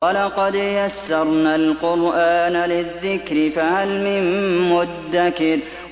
وَلَقَدْ يَسَّرْنَا الْقُرْآنَ لِلذِّكْرِ فَهَلْ مِن مُّدَّكِرٍ